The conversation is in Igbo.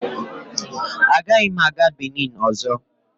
Agaghị m aga Binin ọzọ.